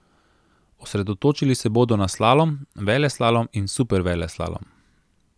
Osredotočili se bodo na slalom, veleslalom in superveleslalom.